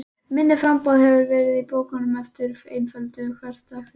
Minna framboð hefur verið af bókum með einföldum hversdagsréttum.